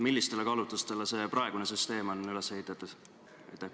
Millistele kaalutlustele on praegune süsteem üles ehitatud?